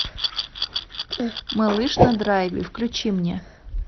малыш на драйве включи мне